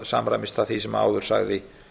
samræmist það því sem áður sagði